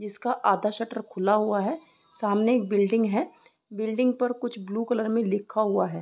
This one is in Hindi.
इसका आधा शटर खुला हुआ है सामने एक बिल्डिंग है। बिल्डिंग पर कुछ ब्लू कलर में लिखा हुआ है।